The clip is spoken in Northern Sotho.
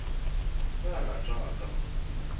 ge a rata a ka